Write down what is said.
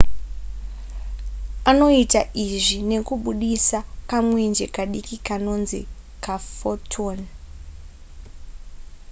anoita izvi nekubudisa kamwenje kadiki kanonzi ka photon